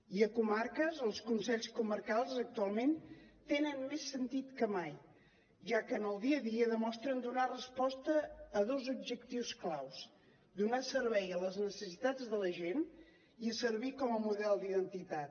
i a comarques els consells comarcals actualment tenen més sentit que mai ja que en el dia a dia demostren donar resposta a dos objectius clau donar servei a les necessitats de la gent i servir com a model d’identitat